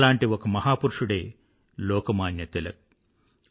అలాంటి ఒక మహాపురుషుడే లోకమాన్య తిలక్